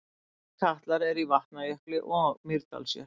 Slíkir katlar eru í Vatnajökli og Mýrdalsjökli.